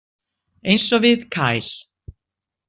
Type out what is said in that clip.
Eins og við Kyle.